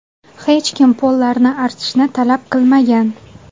Hech kim pollarni artishni talab qilmagan.